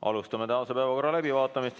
Alustame tänase päevakorra läbivaatamist.